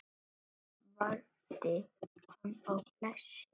Guð verndi hana og blessi.